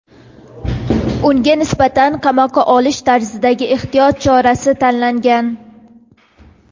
unga nisbatan "qamoqqa olish" tarzidagi ehtiyot chorasi tanlangan.